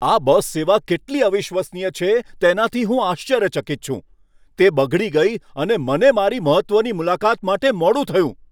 આ બસ સેવા કેટલી અવિશ્વસનીય છે, તેનાથી હું આશ્ચર્યચકિત છું. તે બગડી ગઈ અને મને મારી મહત્ત્વની મુલાકાત માટે મોડું થયું!